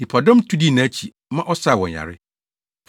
Nnipadɔm tu dii nʼakyi, ma ɔsaa wɔn yare.